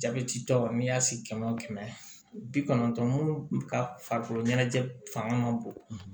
Jabɛti tɔ n'i y'a si kɛmɛ wo kɛmɛ bi kɔnɔntɔn mun ka farikolo ɲɛnajɛ fanga ka bon